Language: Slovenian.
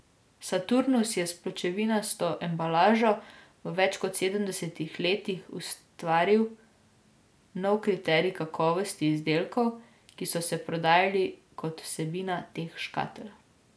Saturnus je s pločevinasto embalažo v več kot sedemdesetih letih ustvaril nov kriterij kakovosti izdelkov, ki so se prodajali kot vsebina teh škatel.